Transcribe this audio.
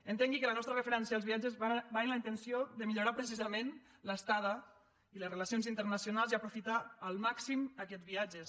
entengui que la nostra referència als viatges va amb la intenció de millorar precisament l’estada i les relacions internacionals i aprofitar al màxim aquests viatges